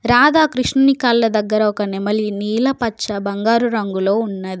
రాధాకృష్ణుని కాళ్ళ దగ్గర ఒక నెమలి నీల పచ్చ బంగారు రంగులో ఉన్నది.